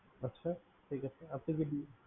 আচ্ছা ঠিক আছে